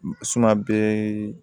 bɛɛ